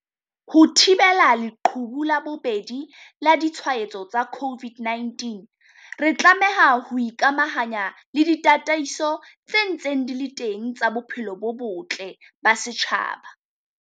Ho thibela leqhubu la bobedi la ditshwaetso tsa COVID-19, re tlameha ho ikamahanya le ditataiso tse ntseng di le teng tsa bophelo bo botle ba setjhaba.